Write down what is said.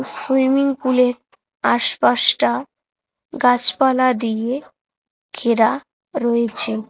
Swimming pool -এর আশপাশটা গাছপালা দিয়ে ঘেরা রয়েছে।